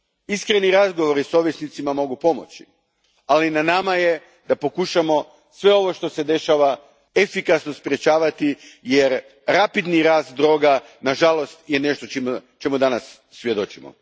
Iskreni razgovori s ovisnicima mogu pomoći, ali na nama je da pokušamo sve ovo što se dešava efikasno sprečavati jer rapidni rast droga na žalost je nešto čemu danas svjedočimo.